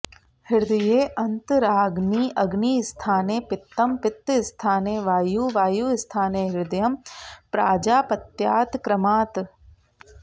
हृदयेऽन्तराग्निः अग्निस्थाने पित्तं पित्तस्थाने वायुः वायुस्थाने हृदयं प्राजापत्यात्क्रमात्